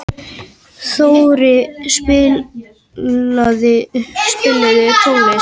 Þóri, spilaðu tónlist.